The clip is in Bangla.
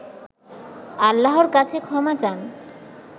আল্লাহর কাছে ক্ষমা চান